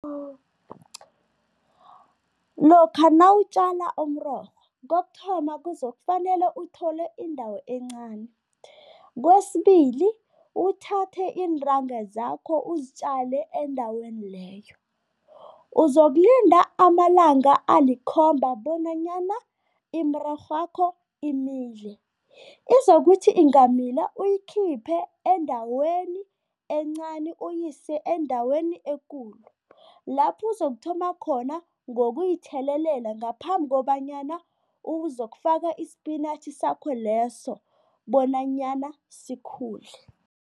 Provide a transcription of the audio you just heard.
Lokha nawutjala umrorho, kokuthoma kuzokufanele uthole indawo encani. Kwesibili, uthathe iintanga zakho uzitjale endaweni leyo. Uzokulinda amalanga alikhomba bonanyana imirorhwakho imile. Izokuthi ingamila, uyikhiphe endaweni encani uyise endaweni ekulu, lapho uzokuthoma khona ngokuyithelelela ngaphambi kobanyana uzokufaka isipinatjhi sakho leso bonanyana sikhule.